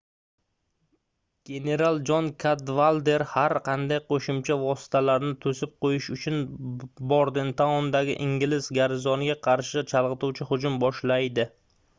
general jon kadvalder har qanday qoʻshimcha vositalarni toʻsib qoʻyish uchun bordentaundagi ingliz garnizoniga qarshi chalgʻituvchi hujum boshlaydi